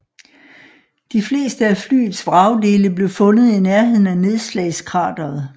De fleste af flyets vragdele blev fundet i nærheden af nedslagskrateret